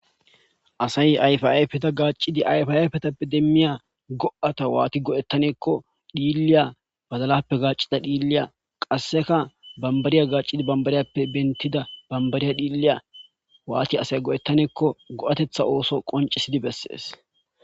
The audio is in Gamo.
Asay ayfa ayfeta gacid ayfa ayifetappe demiya go'ata wati go'etaneko dhiliya badalappe gacida dhiliya qaseka , bambariya gacid bambariyappe bentida bambariya dhliya wat asay go'etaneko go'atetha ooso qoncisiya ooso qoncisid beses.